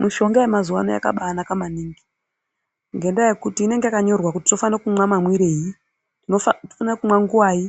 Mishonga yamazuva ano yakabanaka maningi ngendaa yekuti inenge yakanyorwa kuti tofana kumwa mamwirei tinofana kumwa nguvai,